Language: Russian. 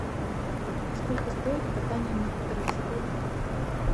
сколько стоит катание на квадроциклах